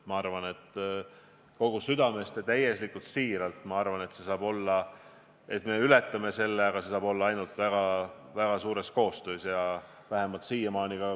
Ma arvan kogu südamest ja täiesti siiralt, et me ületame selle, aga see saab toimuda ainult väga tihedas koostöös.